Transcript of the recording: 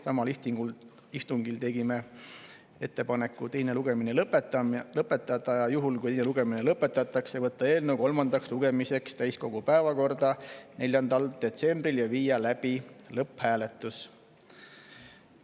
Samal istungil tegime ettepaneku teine lugemine lõpetada ning juhul, kui teine lugemine lõpetatakse, võtta eelnõu kolmandaks lugemiseks täiskogu päevakorda 4. detsembril ja viia läbi lõpphääletus.